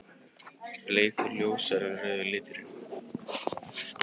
Bleikur: Ljósari en rauði liturinn.